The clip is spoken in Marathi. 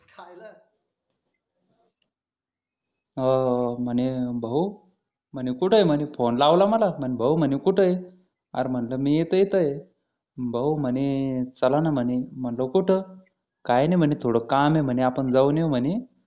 हो हो म्हणे भाऊ म्हणे कुठे आहे म्हणे फोन लावला म्हणजे भाऊ कुठे आहे अर म्हटलं मी तर इथे येत आहे भाऊ म्हणे चला ना म्हणे म्हटलं कुठं काय नाही म्हणे थोडं काम आहे म्हणे आपण जाऊन येऊ म्हणे